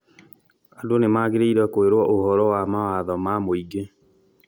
Andũ nĩmagĩrĩirwo kwĩrũo ũhoro wa mawatho ma mũingĩ